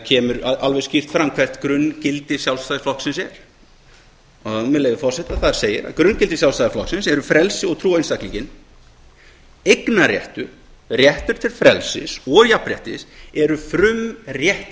kemur alveg skýrt fram hvert grunngildi sjálfstæðisflokksins er með leyfi forseta þar segir að grunngildi sjálfstæðisflokksins eru frelsi og trú á einstaklinginn eignarréttur réttur til frelsis og jafnréttis eru frumréttindi sérhvers einstaklings